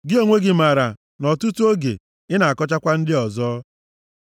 Gị onwe gị maara na ọtụtụ oge, ị na-akọchakwa ndị ọzọ.